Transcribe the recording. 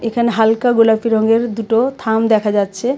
এখানে হালকা গোলাপি রঙের দুটো থাম দেখা যাচ্ছে.